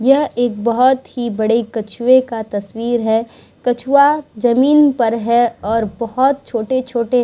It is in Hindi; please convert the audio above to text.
यहाँ एक बहोत ही बड़े कछुए का तस्वीर है कछुवा जमींन पर हैऔर बहोत छोटे-छोटे --